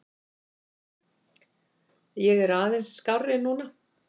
Ég er aðeins skárri núna.